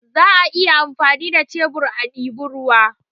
Za a iya amfani da shebur a diba ruwa